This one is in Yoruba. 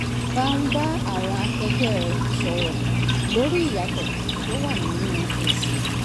bá ń bá àwọn akẹgbẹ́ rẹ̀ sọ̀rọ̀ lórí ìyàtọ̀ tó wà nínú ẹ̀sìn